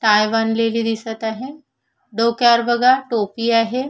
Tie बांधलेली दिसत आहे डोक्यावर बघा टोपी दिसत आहे.